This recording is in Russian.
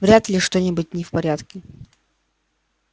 вряд ли что-нибудь не в порядке